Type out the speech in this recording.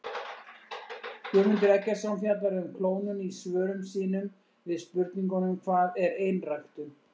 Guðmundur Eggertsson fjallar um klónun í svörum sínum við spurningunum Hvað er einræktun?